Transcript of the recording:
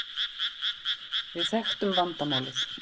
Við þekktum vandamálið.